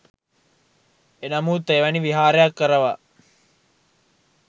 එනමුත් එවැනි විහාරයක් කරවා